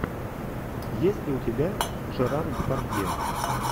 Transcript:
есть ли у тебя жерар депардье